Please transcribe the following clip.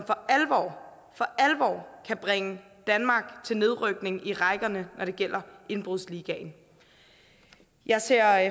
for alvor kan bringe danmark til nedrykning i rækkerne når det gælder indbrudsligaen jeg ser